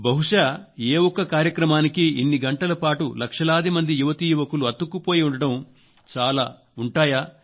బహుశా ఏ ఒక్క కార్యక్రమానికి ఇన్ని గంటల పాటు లక్షలాది మంది యువతీ యువకులు అతుక్కుపోయి ఉండటం చాలా అరుదుగా జరుగుతుంది